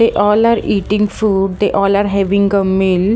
They all are eating food they all are having a meal.